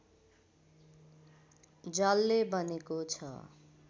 जलले बनेको छ